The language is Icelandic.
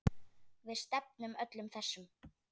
Við stefnum öllum þessum